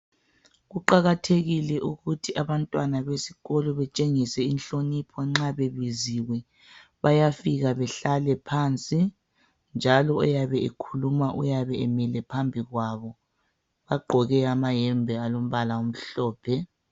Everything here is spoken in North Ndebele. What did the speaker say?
Kuqakatheile ukuthi abantwana besikolo betshengise inhlonipho nxa bebiziwe. Bayafika behlale phansi njalo oyabe ekhuluma uyabe emile phambi kwabo. Bagqoke amayembe alombala omhlophe.